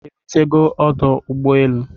Ị́ rutego ọdụ ụgbọelu?